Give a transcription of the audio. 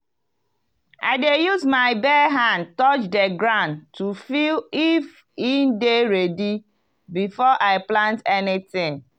i dey use my bare hand touch the ground to feel if e dey ready before i plant anything.